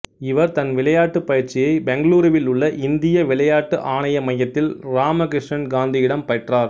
இவர் தன் விளையாட்டுப் பயிற்சியை பெங்களூருவில் உள்ள இந்திய விளையாட்டு ஆணைய மையத்தில் இராம கிருஷ்ணன் காந்தியிடம் பெற்றார்